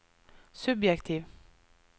subjektiv